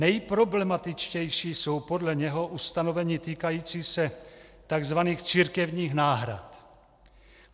Nejproblematičtější jsou podle něho ustanovení týkající se tzv. církevních náhrad.